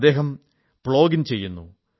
അദ്ദേഹം പ്ലോഗിംഗ് ചെയ്യുന്നു